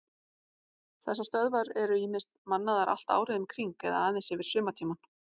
Þessar stöðvar eru ýmist mannaðar allt árið um kring eða aðeins yfir sumartímann.